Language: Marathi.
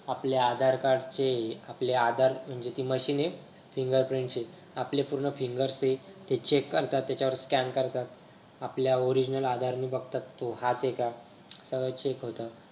आपले आधार Card चे आपले आधार म्हणजे ती machine हे fingerprint ची आपले पूर्ण finger सहित ते check करतात त्याच्यावर scan करतात आपल्या Original आधार ने बघतात तो हाच आहे का check होत.